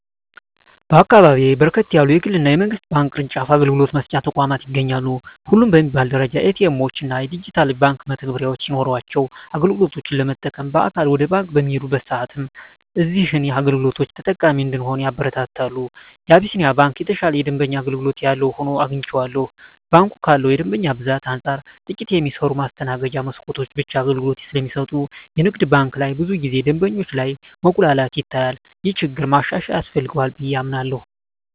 በአካባቢየ በርከት ያሉ የግል እና የመንግስት ባንክ ቅርጫፍ አገልግሎት መስጫ ተቋማት ይገኛሉ። ሁሉም በሚባል ደረጃ ኤ.ቲ. ኤምዎች እና ዲጂታል የባንክ መተግበሪያዎች ሲኖሯቸው አገልግሎት ለመጠቀም በአካል ወደ ባንክ በምንሄድበት ሰአትም እዚህን አገልግሎቶች ተጠቃሚ እንድንሆን ያበረታታሉ። የአቢስንያ ባንክ የተሻለ የደንበኛ አገልግሎት ያለው ሆኖ አግኝቸዋለሁ። ባንኩ ካለው የደንበኛ ብዛት አንፃር ጥቂት የሚሰሩ የማስተናገጃ መስኮቶች ብቻ አገልግሎት ስለሚሰጡ የንግድ ባንክ ላይ ብዙ ጊዜ ደንበኞች ላይ መጉላላት ይታያል። ይህ ችግር ማሻሻያ ያስፈልገዋል ብየ አምናለሁ።